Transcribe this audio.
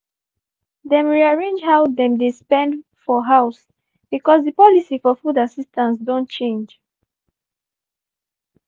dem rearrange how dem dey dey spend for house bcoz di policy for food assistance don change.